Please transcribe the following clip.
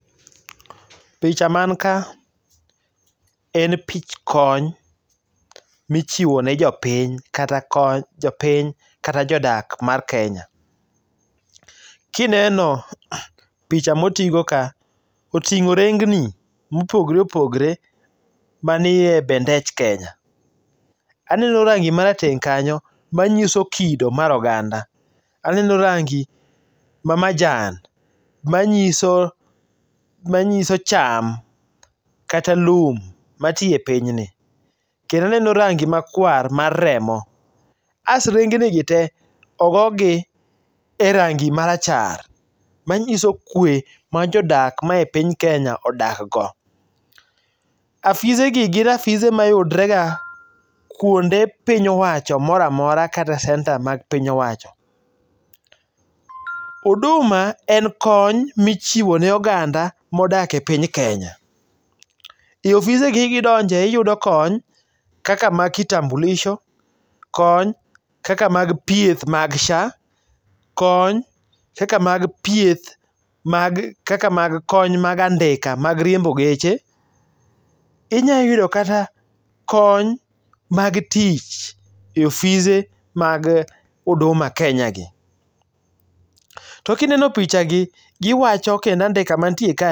Picha man ka en pich kony michiwone jopiny kata kony jopiny kata jodak mar Kenya. Kineno picha motigo ka, oting'o rengni mopogore opogore manie bendech Kenya. aneno rangi marateng' kanyo manyiso kido mar oganda, aneno rangi mamajan manyiso cham kata lum matii e pinyni, kendo aneno rangi makwar mar remo, as rengnigi te ogogi e rangi marachar, manyiso kwe ma jodak ma e piny Kenya odakgo. Afisegi gin afise mayudrega kwonde piny owacho moramora kata centre mag piny owacho. Huduma en kony michiwo ne oganda modak e piny Kenya,i ofisegi kidonje iyudo kony kaka mag kitambulisho kony kaka mag thieth mag SHA, kony kaka mag kony mag andika mag riembo geche. Inyalo yudo kata kony mag tich e ofise mag huduma Kenya gi. To kineno pichagi giwacho kendo andika mantie kani